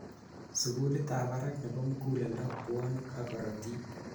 sugulit ab barak nebo muguleldo, pwonik ak korotik